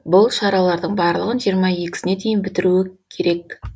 бұл шаралардың барлығын жиырма екісіне дейін бітіруі керек